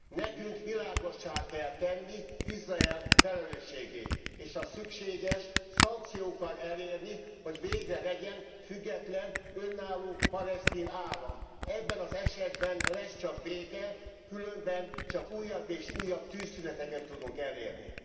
Nekünk világossá kell tenni Izrael felelősségét, és ha szükséges, szankciókkal elérni, hogy végre legyen független, önálló palesztin állam. Ebben az esetben lesz csak béke, különben csak újabb és újabb tűzszüneteket tudunk elérni.